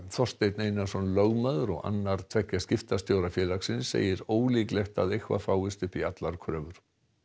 Þorsteinn Einarsson lögmaður og annar tveggja skiptastjóra félagsins segir ólíklegt að eitthvað fáist upp í allar kröfur